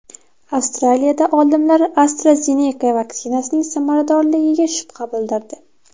Avstraliyada olimlar AstraZeneca vaksinasining samaradorligiga shubha bildirdi.